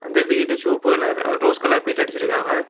இந்த வீடு சிவப்பு கலர் ரோஸ் கலர் பெயிண்ட் அடிச்சிருக்காவ.